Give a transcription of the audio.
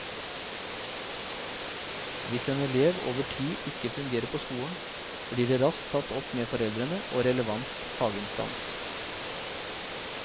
Hvis en elev over tid ikke fungerer på skolen, blir det raskt tatt opp med foreldre og relevant faginstans.